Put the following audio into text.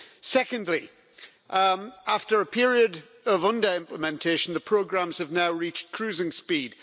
Secondly, after a period of under-implementation, the programmes have now reached cruising speed.